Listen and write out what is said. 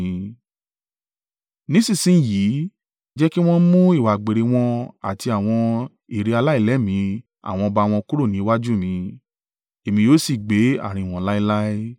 Nísinsin yìí jẹ́ kí wọn mú ìwà àgbèrè wọn àti àwọn ère aláìlẹ́mìí àwọn ọba wọn kúrò ni iwájú mi, èmi yóò sì gbé àárín wọn láéláé.